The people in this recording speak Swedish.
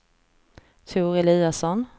Tor Eliasson